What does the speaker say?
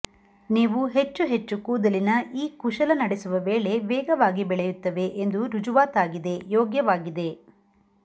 ನೀವು ಹೆಚ್ಚು ಹೆಚ್ಚು ಕೂದಲಿನ ಈ ಕುಶಲ ನಡೆಸುವ ವೇಳೆ ವೇಗವಾಗಿ ಬೆಳೆಯುತ್ತವೆ ಎಂದು ರುಜುವಾತಾಗಿದೆ ಯೋಗ್ಯವಾಗಿದೆ